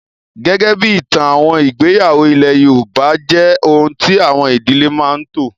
Gẹ́gẹ́ bí ìtàn, àwọn ìgbéyàwó ilé yoòbá jẹ́ ohun tí àwọn ìdílé máa n tò